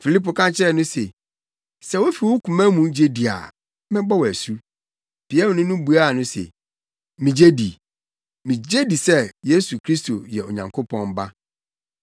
Filipo ka kyerɛ no se, “Sɛ wufi wo koma mu gye di a, mɛbɔ wo asu.” Piamni no buaa no se, “Migye di. Migye di sɛ Yesu Kristo yɛ Onyankopɔn Ba.”